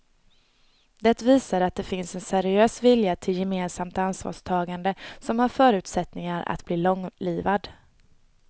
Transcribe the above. Det visar att det finns en seriös vilja till gemensamt ansvarstagande som har förutsättningar att bli långlivad.